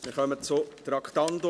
Wir kommen zu Traktandum 89.